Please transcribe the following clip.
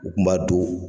U kun b'a don